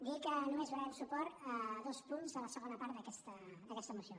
dir que només donarem suport a dos punts de la segona part d’aquesta moció